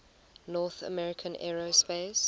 north american aerospace